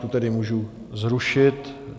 Tu tedy můžu zrušit?